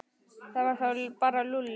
Það var þá bara Lúlli.